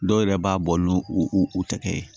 Dɔw yɛrɛ b'a bɔ n'u tɛgɛ ye